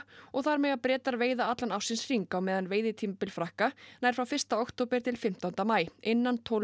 og þar mega Bretar veiða allan ársins hring á meðan veiðitímabil Frakka nær frá fyrsta október til fimmtánda maí innan tólf